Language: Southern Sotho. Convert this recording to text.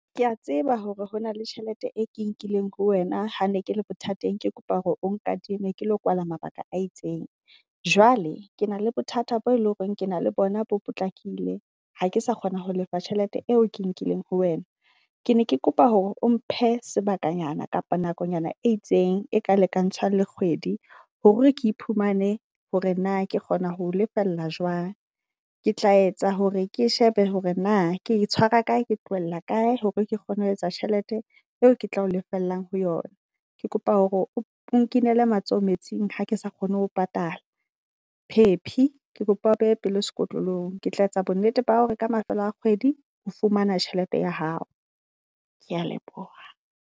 Kea tseba hore hona le tjhelete e ke nkileng ho wena. Ha ne ke le bothateng, ke kopa hore o nkadime ke lo koala mabaka a itseng. Jwale ke na le bothata bo e leng hore ke na le bona bo potlakile. Ha ke sa kgona ho lefa tjhelete eo ke nkileng ho wena, ke ne ke kopa hore o mphe sebakanyana kapa nakonyana e itseng e ka lekantshwang le kgwedi. Hore ke iphumane hore na ke kgona ho lefella jwang. Ke tla etsa hore ke shebe hore na ke tshwara kae, ke tlohella kae hore ke kgone ho etsa tjhelete eo ke tlao lefella ho yona. Ke kopa hore o nkinele matsoho metsing ha ke sa kgone ho patala. Phephi ke kopa o behe pelo sekotlolo ng. Ke tla etsa bo nnete ba hore ka mafelo a kgwedi o fumana tjhelete ya hao. Kea leboha.